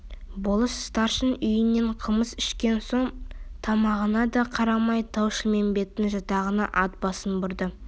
болыс старшынның үйінен қымыз ішкен соң тамағына да қарамай тау-шілмембеттің жатағына ат басын бұрды